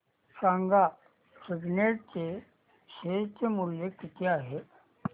सांगा सिग्नेट चे शेअर चे मूल्य किती आहे